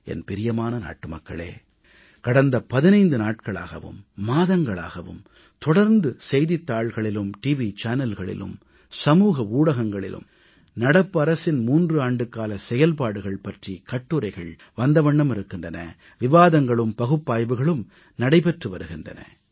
என் பிரியமான நாட்டுமக்களே கடந்த 15 நாட்களாகவும் மாதங்களாகவும் தொடர்ந்து செய்தித்தாள்களிலும் டிவி சேனல்களிலும் சமூக ஊடகங்களிலும் நடப்பு அரசின் 3 ஆண்டுகால செயல்பாடுகள் பற்றி கட்டுரைகள் வந்தவண்ணம் இருக்கின்றன விவாதங்களும் பகுப்பாய்வுகளும் நடைபெற்று வருகின்றன